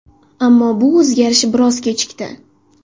Ammo bu o‘zgarish biroz kechikdi.